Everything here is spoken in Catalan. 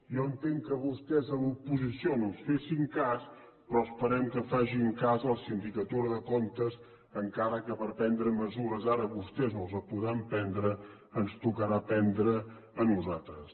jo entenc que vostès a l’oposició no ens fessin cas però esperem que facin cas de la sindicatura de comptes encara que prendre mesures ara vostès no les podran prendre ens tocarà prendre les a nosaltres